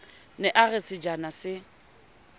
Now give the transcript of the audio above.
ne a re sejana se